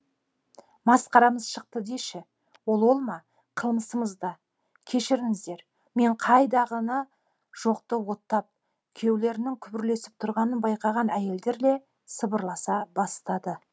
масқарамыз шықты деші ол ол ма қылмысымыз да кешіріңіздер мен қайдағыны жоқты оттап күйеулерінің күбірлесіп тұрғанын байқаған әйелдер де сыбырласа бастады